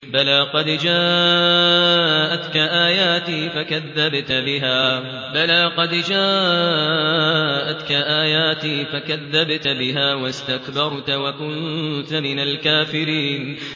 بَلَىٰ قَدْ جَاءَتْكَ آيَاتِي فَكَذَّبْتَ بِهَا وَاسْتَكْبَرْتَ وَكُنتَ مِنَ الْكَافِرِينَ